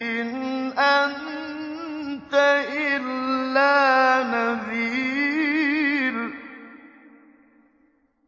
إِنْ أَنتَ إِلَّا نَذِيرٌ